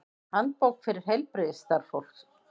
Handbók fyrir heilbrigðisstarfsfólk.